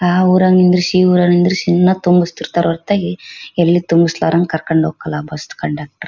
ಆ ಊರಾಗ್ ನಿಂದ್ರಿಶೀ ಈ ಊರಾಗ್ ನಿಂದ್ರಿಶೀ ಮತ್ತು ನಿಲ್ಸ್ತಿರ್ತಾರ್ ಹೊರ್ತಾಗಿ ಎಲ್ಲಿ ತುಂಬಿಸ್ತಾರಂಗ್ ಕರ್ಕೊಂಡ್ ಹೋಗೋದಿಲ್ಲಾ ಬಸ್ ಕಂಡಾಕ್ಟರ್ .